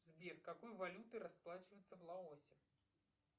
сбер какой валютой расплачиваются в лаосе